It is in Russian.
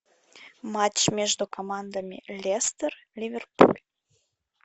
матч между командами лестер ливерпуль